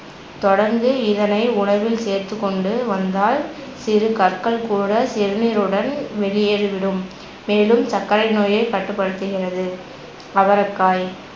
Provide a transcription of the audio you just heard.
தொடர்ந்து இதனை உணவில் சேர்த்துக்கொண்டு வந்தால் சிறு கற்கள் கூட சிறுநீருடன் வெளியேறிவிடும் மேலும் சர்க்கரை நோயைக் கட்டுப்படுத்துகிறது அவரைக்காய்